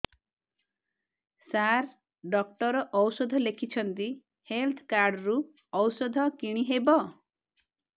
ସାର doctor ଔଷଧ ଲେଖିଛନ୍ତି health card ରୁ ଔଷଧ କିଣି ହେବ